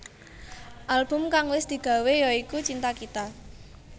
Album kang wis digawe ya iku Cinta Kita